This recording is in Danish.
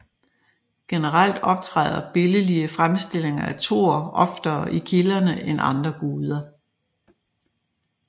Generelt optræder billedlige fremstillinger af Thor oftere i kilderne end andre guder